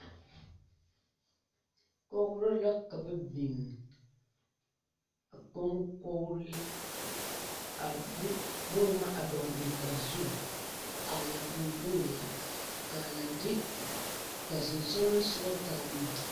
Kɔgri la ka ba bing a konkore a de buma a dɔgli a zu a lang bonga ka a le de ka sinsulonsugu taa buma.